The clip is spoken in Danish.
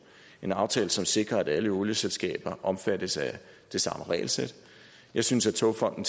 en aftale som sikrer at alle olieselskaber omfattes af det samme regelsæt jeg synes at togfonden